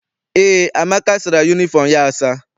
Eé, Amaka sara yunifọm ya asa.